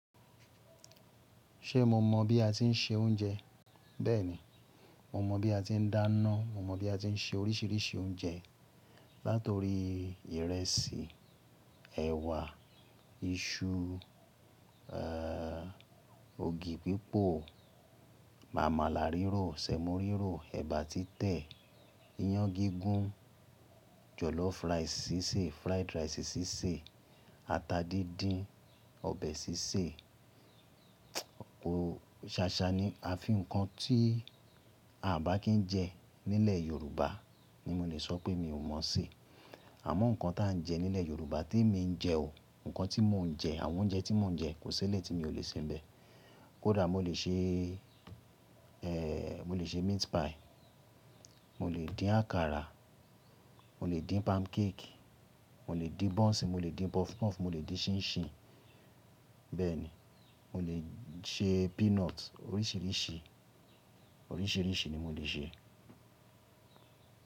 Ṣé mo mọ̀ bí a tí ń se oúnjẹ? Bẹ́ẹ̀ni, mo mọ̀ bí a tí ń dáná, mo mọ̀ bí a tí ń se oríṣiríṣi oúnjẹ. Látorí ìrẹsì, ẹ̀wà, iṣu, èé, ògì pípò, màmàlá rírò, sẹ̀mọ rírò, ẹ̀bà títẹ̀, iyán gígún, jọ̀lọ́fù ráìsì sísè, fried rice sísè, ata díndín, ọbẹ̀ sísè. Ṣáṣá ni a fi ǹkan tí a ò bá kí ń jẹ nílẹ̀ Yorùbá ni mo lè sọ pé mi ò mọ̀ sí. Àmọ́ ǹkan tí à ń jẹ nílẹ̀ Yorùbá tí èmi ń jẹ o, ǹkan tí mò ń jẹ, àwọn oúnjẹ tí mò ń jẹ kò sílé tí mi ò lè sé ni bẹ̀. Kódà mo lè ṣe, èèò, mo lè ṣe meat pie, mo lè dín àkàrà, mo lè dín pancake, mo lè dín buns, mo lè dín puff puff, mo lè dín ṣíńṣíń. Bẹ́ẹ̀ ni, mo lè ṣe peanut oríṣiríṣi, oríṣiríṣi ni mo lè ṣe.